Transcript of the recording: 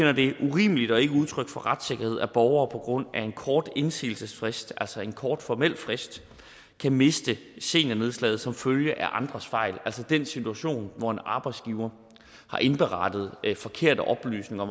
urimeligt og ikke udtryk for retssikkerhed at borgere på grund af en kort indsigelsesfrist altså en kort formel frist kan miste seniornedslaget som følge af andres fejl altså den situation hvor en arbejdsgiver har indberettet forkerte oplysninger